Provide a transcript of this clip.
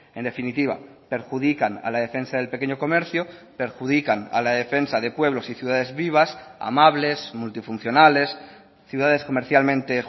en definitiva perjudican a la defensa del pequeño comercio perjudican a la defensa de pueblos y ciudades vivas amables multifuncionales ciudades comercialmente